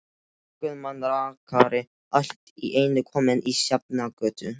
Guðmann rakari allt í einu kominn á Sjafnargötu.